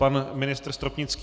Pan ministr Stropnický...